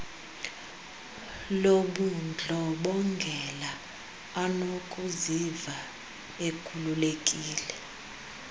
lobundlobongela anokuziva ekhululekile